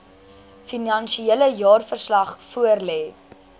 finansiële jaarverslag voorlê